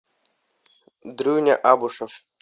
дрюня абушов